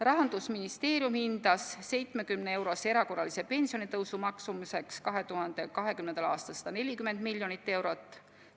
Rahandusministeerium hindas 70-eurose erakorralise pensionitõusu maksumuseks 2020. aastal 140 miljonit eurot.